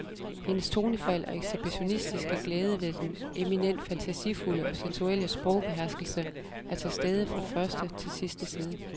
Hendes tonefald og ekshibitionistiske glæde ved den eminent fantasifulde og sensuelle sprogbeherskelse er til stede fra første til sidste side.